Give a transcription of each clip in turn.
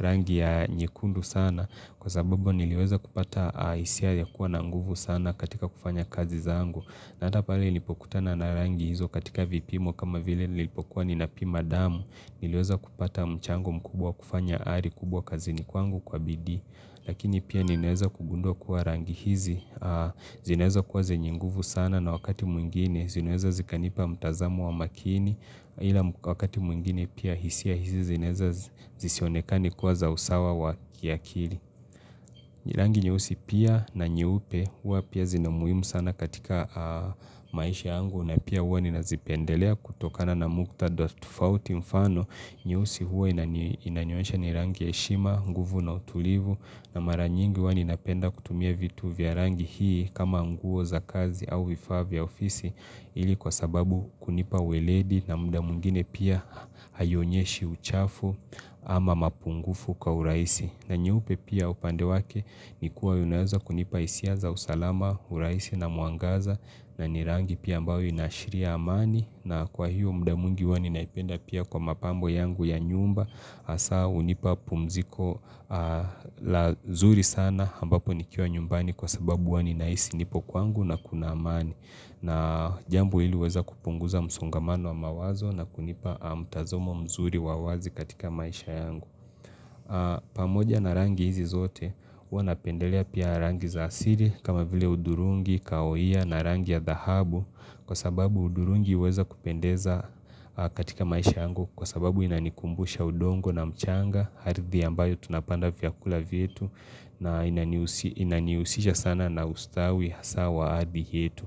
Rangi ya nyekundu sana, kwa sababu niliweza kupata hisia ilikuwa na nguvu sana katika kufanya kazi zangu, na hata pale nilipokutana na rangi hizo katika vipimo kama vile nilipokuwa nina pima damu, nili weza kupata mchango mkubwa kufanya ari kubwa kazini kwangu kwa bidii lakini pia nimeweza kugundua kuwa rangi hizi zinaweza kuwa zenye nguvu sana na wakati mwingine zinaweza zikanipa mtazamo wa makini ila wakati mwingine pia, hisia hizi zinaweza zisionekane kuwa za usawa wa kiakili Rangi nyeusi pia, na nyeupe hua pia zina umuhimu sana katika maisha yangu na pia hua ninazipendelea kutokana na muktadha tofauti, mfano, nyeusi hua inanionyesha ni rangi ya heshima, nguvu na utulivu na mara nyingi hua ninapenda kutumia vitu vya rangi hii kama nguo za kazi au vifa vya ofisi ili kwa sababu kunipa weledi na muda mwingine pia haionyeshi uchafu ama mapungufu kwa urahisi. Na nyeupe pia upande wake ni kuwa unaweza kunipa hisia za usalama, urahisi na mwangaza na ni rangi pia ambayo inaashiria amani. Na kwa hiyo muda mwingi huwa ninaipenda pia kwa mapambo yangu ya nyumba. Hasa hunipa pumziko zuri sana ambapo nikiwa nyumbani kwa sababu huwa ninahisi nipo kwangu na kuna amani. Na jambo hili huweza kupunguza msongamano wa mawazo na kunipa mtazamo mzuri wa wazi katika maisha yangu. Pamoja na rangi hizi zote, huwa napendelea pia rangi za asili kama vile udhurungi, kaoia na rangi ya dhahabu kwa sababu udhurungi huweza kupendeza katika maisha yangu kwa sababu inanikumbusha udongo na mchanga, ardhi ambayo tunapanda vyakula vietu na inanihusisha sana na ustawi hasa wa ardhi yetu.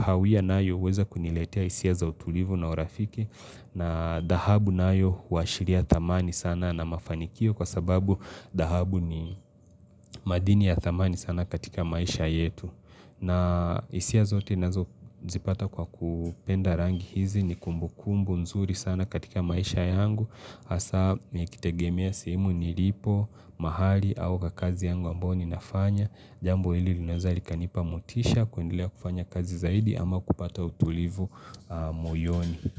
Hawia nayo huweza kuniletea hisia za utulivu na urafiki na dahabu nayo huashiria thamani sana na mafanikio kwa sababu dahabu ni madini ya thamani sana katika maisha yetu na hisia zote nazo zipata kwa kupenda rangi hizi ni kumbukumbu nzuri sana katika maisha yangu hasa nikitegemea simu nilipo, mahali au kwa kazi yangu ambayo ninafanya Jambo hili linaweza likanipa motisha kuendelea kufanya kazi zaidi ama kupata utulivu moyoni.